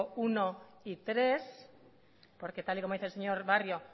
uno y tres porque tal y como dice el señor barrio